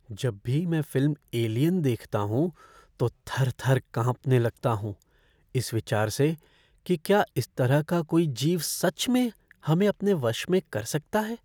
जब भी मैं फ़िल्म 'एलियन' देखता हूँ तो थर थर काँपने लगता हूँ इस विचार से कि क्या इस तरह का कोई जीव सच में हमें अपने वश में कर सकता है?